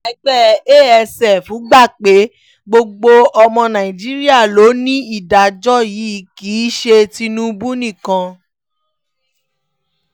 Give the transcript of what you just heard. ẹgbẹ́ asf gbà pé gbogbo ọmọ nàìjíríà ló ní ìdájọ́ yìí kì í ṣe tinubu nìkan